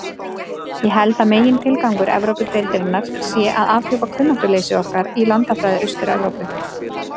Ég held að megintilgangur Evrópudeildarinnar sé að afhjúpa kunnáttuleysi okkar í landafræði Austur-Evrópu.